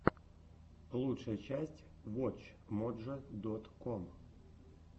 лучшая часть вотч моджо дот ком